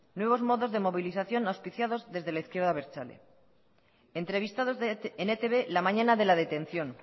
nuevos modos de movilización auspiciados desde la izquierda abertzale entrevistados en etb la mañana de la detención